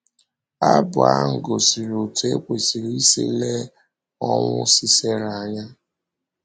Abụ ahụ gosiri otú e kwesịrị isi lee ọnwụ Sisera anya.